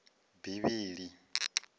bivhili